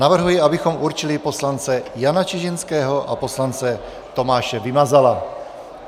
Navrhuji, abychom určili poslance Jana Čižinského a poslance Tomáše Vymazala.